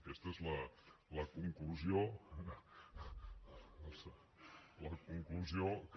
aquesta és la conclusió que